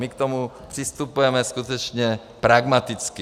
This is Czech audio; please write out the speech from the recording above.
My k tomu přistupujeme skutečně pragmaticky.